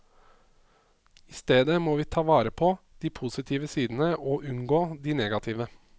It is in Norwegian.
I stedet må vi ta vare på de positive sidene og unngå de negative.